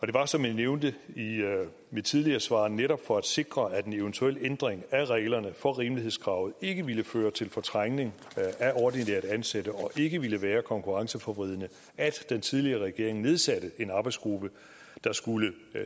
det var som jeg nævnte i mit tidligere svar netop for at sikre at en eventuel ændring af reglerne for rimeligskravet ikke ville føre til fortrængning af ordinært ansatte og ikke ville være konkurrenceforvridende at den tidligere regering nedsatte en arbejdsgruppe der skulle